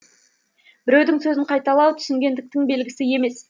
біреудің сөзін қайталау түсінгендіктің белгісі емес